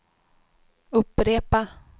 upprepa